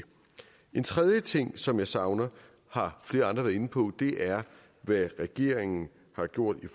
en tredje ting som jeg savner har flere andre været inde på og det er hvad regeringen har gjort i